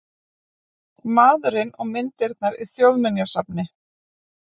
Maðurinn og myndirnar í Þjóðminjasafni